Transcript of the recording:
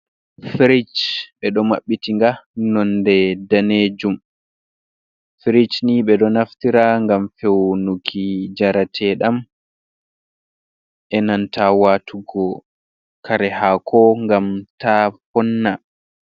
Firij, ɓe ɗo maɓɓiti nga, nonde daneejum, firij ni ɓe ɗo naftira ngam fewnuki njarateɗam e nanta waatugo kare haako ngam taa vonna.